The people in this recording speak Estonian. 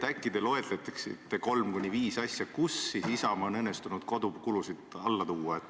Äkki te loetlete kolm kuni viis näidet selle kohta, et Isamaal on õnnestunud kodukulusid alla tuua.